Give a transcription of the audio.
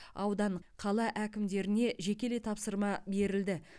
аудан қала әкімдеріне жекелей тапсырма берілді